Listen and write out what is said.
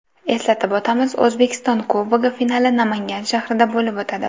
Eslatib o‘tamiz, O‘zbekiston Kubogi finali Namangan shahrida bo‘lib o‘tadi.